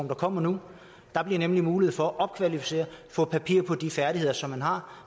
der kommer nu der bliver nemlig mulighed for at blive opkvalificeret og få papir på de færdigheder som man har